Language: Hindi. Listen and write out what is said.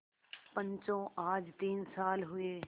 पंचो आज तीन साल हुए